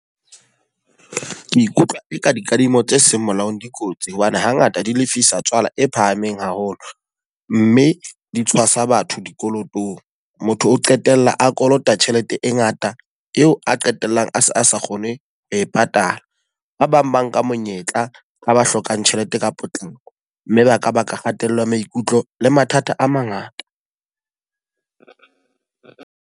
Ke ikutlwa e ka dikadimo tse seng molaong dikotsi. Hobane ha ngata di lefisa tswala e phahameng haholo. Mme di tshwasa batho dikolotong. Motho o qetella a kolota tjhelete e ngata eo a qetellang a se a sa kgone ho e patala. Ba bang ba nka monyetla a ba hlokang tjhelete ka potlako. Mme ba ka baka kgatello ya maikutlo le mathata a mangata.